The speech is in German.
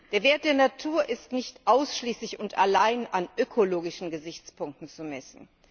Der Wert der Natur ist nicht ausschließlich und allein an ökologischen Gesichtspunkten zu messen.